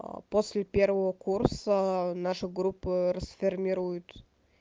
а после первого курса наши группы расформируют